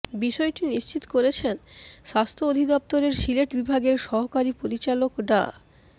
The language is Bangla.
বিষয়টি নিশ্চিত করেছেন স্বাস্থ্য অধিদফতর সিলেট বিভাগের সহকারী পরিচালক ডা